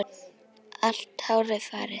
Allt hárið farið.